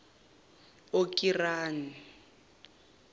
okirani